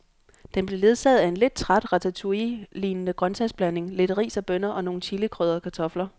Den blev ledsaget af en lidt træt ratatouillelignende grøntsagsblanding, lidt ris og bønner og nogle chilikrydrede kartofler.